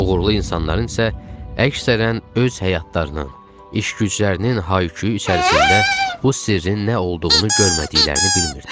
Uğurlu insanların isə əksərən öz həyatlarının, iş-güclərinin hay-küyü içərisində bu sirrin nə olduğunu görmədiklərini bilmirdik.